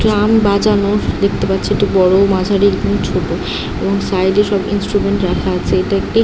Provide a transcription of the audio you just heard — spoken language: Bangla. ড্রাম বাজানোর দেখতে পাচ্ছি একটি বড়ো মাঝারি এবং ছোটো এবং সাইড এ সব ইনস্ট্রুমেন্ট রাখা আছে এটা একটি ।